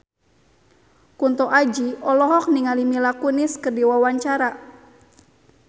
Kunto Aji olohok ningali Mila Kunis keur diwawancara